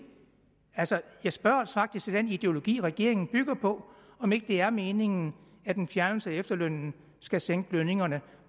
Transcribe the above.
jeg spørger faktisk til den ideologi regeringen bygger på om ikke det er meningen at en fjernelse af efterlønnen skal sænke lønningerne